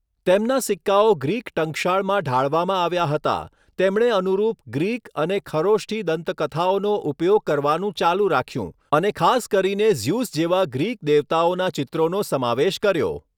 તેમના સિક્કાઓ ગ્રીક ટંકશાળમાં ઢાળવામાં આવ્યા હતા, તેમણે અનુરૂપ ગ્રીક અને ખરોષ્ઠિ દંતકથાઓનો ઉપયોગ કરવાનું ચાલુ રાખ્યું અને ખાસ કરીને ઝ્યુસ જેવા ગ્રીક દેવતાઓના ચિત્રોનો સમાવેશ કર્યો.